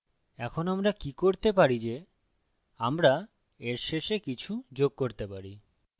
এখন আমরা কি করতে পারি যে আমরা এর শেষে কিছু যোগ করতে পারি